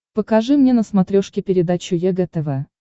покажи мне на смотрешке передачу егэ тв